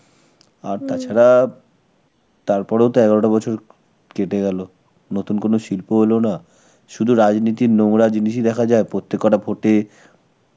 আর তাছাড়া তার পরেও তো এগারোটা বছর কেটে গেল. নতুন কোনো শিল্পও এলো না, শুধু রাজনীতির নোংরা জিনিসই দেখা যায় প্রত্যেককটা vote এ.